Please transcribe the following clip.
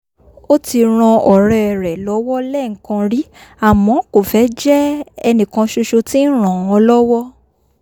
ó ti ran ọ̀rẹ́ rẹ̀ lọ́wọ́ lẹ́ẹ̀kan rí àmọ́ kò fẹ́ jẹ́ ẹnìkan ṣoṣo tí ń ràn án lọ́wọ́